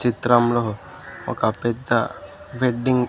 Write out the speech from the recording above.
చిత్రంలో ఒక పెద్ద వెడ్డింగ్ --